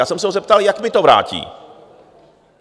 Já jsem se ho zeptal, jak mi to vrátí.